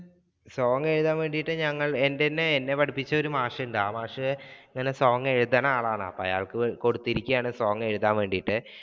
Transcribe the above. song എഴുതാൻ വേണ്ടിയിട്ട് ഞങ്ങൾ എന്റെ എന്നെ പഠിപ്പിച്ച ഒരു മാഷുണ്ട്, ആ മാഷ് song എഴുതണ ആളാണ് അപ്പൊ അയാൾക്ക് കൊടുത്തിരിക്കെയാണ് song എഴുതാൻ വേണ്ടിയിട്ട്.